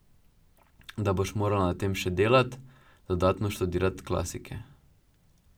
Da boš morala na tem še delat, dodatno študirat klasike.